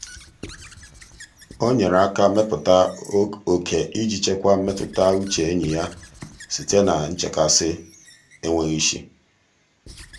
o nyere aka wepụta oke iji chekwaa mmetụtauche enyi um ya site na nchekasị enweghị isi.